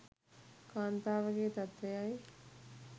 කාන්තාවගේ තත්ත්වයයි.